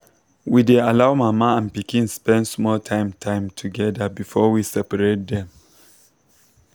we dey allow mama and pikin spend small time time together before we separate dem.